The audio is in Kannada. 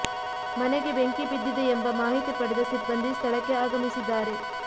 ಮನೆಗೆ ಬೆಂಕಿ ಬಿದ್ದಿದೆ ಎಂಬ ಮಾಹಿತಿ ಪಡೆದ ಸಿಬ್ಬಂದಿ ಸ್ಥಳಕ್ಕೆ ಆಗಮಿಸಿದ್ದಾರೆ